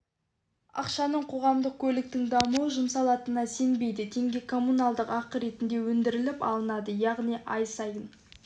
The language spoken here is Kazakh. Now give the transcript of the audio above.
ақшаның қоғамдық көліктің дамуына жұмсалатынына сенбейді теңге коммуналдық ақы ретінде өндіріліп алынады яғни ай сайын